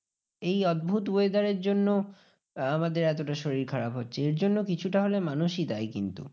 এই অদ্ভুদ weather এর জন্য আমাদের এতটা শরীর খারাপ হচ্ছে। এর জন্য কিছুটা হলে মানুষই দায়ী কিন্তু।